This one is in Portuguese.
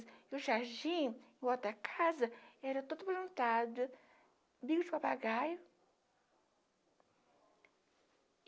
E o Jardim, em volta da casa, era todo plantado, bico de papagaio.